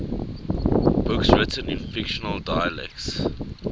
books written in fictional dialects